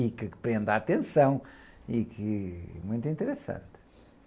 E que prende a atenção e que é muito interessante.